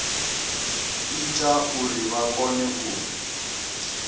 ita uri vha kone u